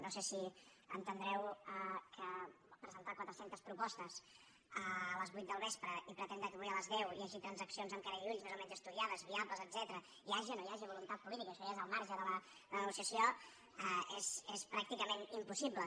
no sé si entendreu que presentar quatre centes propostes a les vuit del vespre i pretendre que avui a les deu hi hagi transac cions amb cara i ulls més o menys estudiades viables etcètera hi hagi o no hi hagi voluntat política això ja és al marge de la negociació és pràcticament impossible